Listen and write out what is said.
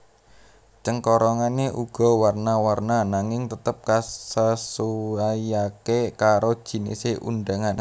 Cengkorongane uga warna warna nanging tetep kasesuaiake karo jinise undangan